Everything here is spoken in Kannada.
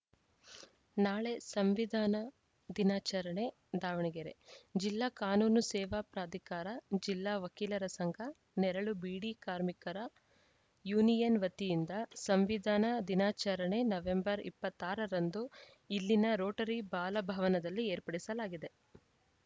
ನಾಳೆ ಸಂವಿಧಾನ ದಿನಾಚರಣೆ ದಾವಣಗೆರೆ ಜಿಲ್ಲಾ ಕಾನೂನು ಸೇವಾ ಪ್ರಾಧಿಕಾರ ಜಿಲ್ಲಾ ವಕೀಲರ ಸಂಘ ನೆರಳು ಬೀಡಿ ಕಾರ್ಮಿಕರ ಯೂನಿಯನ್‌ ವತಿಯಿಂದ ಸಂವಿಧಾನ ದಿನಾಚರಣೆ ನವೆಂಬರ್ ಇಪ್ಪತ್ತ್ ಆರ ರಂದು ಇಲ್ಲಿನ ರೋಟರಿ ಬಾಲ ಭವನದಲ್ಲಿ ಏರ್ಪಡಿಸಲಾಗಿದೆ